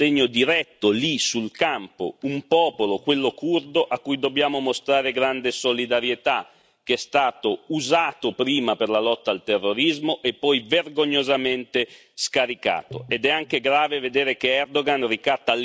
Immediati interventi dunque di sostegno diretto, lì sul campo, un popolo, quello curdo a cui dobbiamo mostrare grande solidarietà, che è stato usato prima per la lotta al terrorismo e poi vergognosamente scaricato.